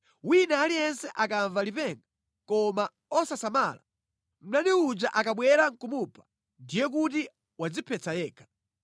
Wina aliyense akamva lipenga koma osasamala, mdani uja akabwera nʼkumupha, ndiye kuti wadziphetsa yekha.